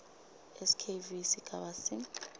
skv sigaba c